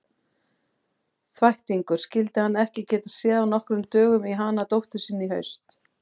Þvættingur, skyldi hann ekki geta séð af nokkrum dögum í hana dóttur sína í haust.